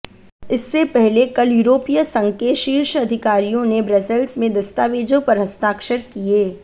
इससे पहले कल यूरोपीय संघ के शीर्ष अधिकारियों ने ब्रसेल्स में दस्तावेजों पर हस्ताक्षर किये